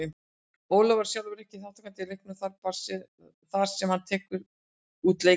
Ólafur verður sjálfur ekki þátttakandi í leiknum þar sem hann tekur út leikbann.